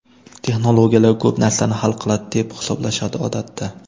Texnologiyalar ko‘p narsani hal qiladi deb hisoblashadi odatda.